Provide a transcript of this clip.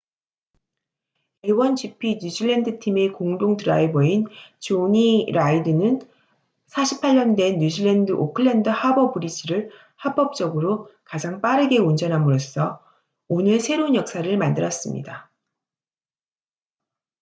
a1gp 뉴질랜드 팀의 공동 드라이버인 jonny reid는 48년 된 뉴질랜드 오클랜드 하버 브리지를 합법적으로 가장 빠르게 운전함으로써 오늘 새로운 역사를 만들었습니다